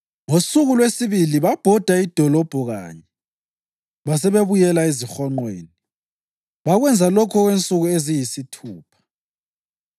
Ngosuku lwesibili babhoda idolobho kanye basebebuyela ezihonqweni. Bakwenza lokhu okwensuku eziyisithupha.